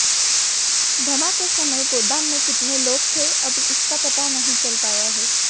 धमाके के समय गोदाम में कितने लोग थे अभी इसका पता नहीं चल पाया है